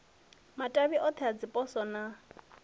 matavhi othe a dziposo na